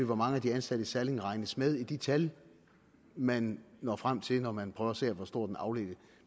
hvor mange af de ansatte i salling regnes med i de tal man når frem til når man prøver at se på hvor stor den afledte